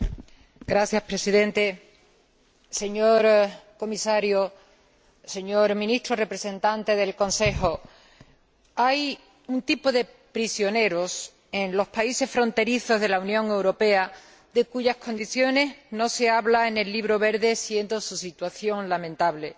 Señor Presidente, señor Comisario, señor Ministro representante del Consejo, hay un tipo de prisioneros en los países fronterizos de la Unión Europea de cuyas condiciones no se habla en el Libro Verde, siendo su situación lamentable